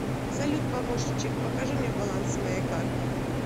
салют помощничек покажи мне баланс моей карты